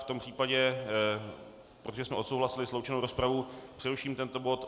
V tom případě, protože jsme odsouhlasili sloučenou rozpravu, přeruším tento bod.